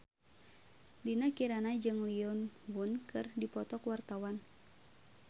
Dinda Kirana jeung Lee Yo Won keur dipoto ku wartawan